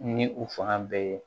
Ni u fanga bɛɛ ye